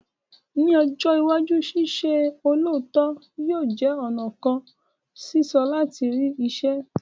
Ní ọjọ́ iwájú, ṣíṣe olóòótọ yóò jẹ́ ọ̀nà kan soso láti rí iṣẹ́